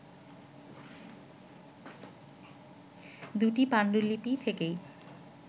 দুটি পাণ্ডুলিপি থেকেই